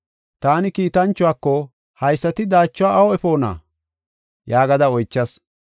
Taani kiitanchuwako, “Haysati daachuwa awu efoona?” yaagada oychas.